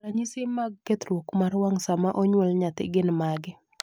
ranyisi mag kethruok mar wang' sama onyuol nyathi gin mage?